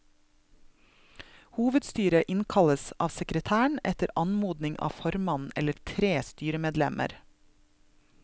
Hovedstyret innkalles av sekretæren etter anmodning av formannen eller tre styremedlemmer.